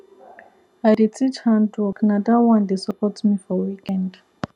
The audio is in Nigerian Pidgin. i dey teach hand work na that one dey support me for weekend